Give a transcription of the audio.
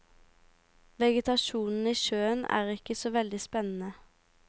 Vegetasjonen i sjøen er ikke så veldig spennende.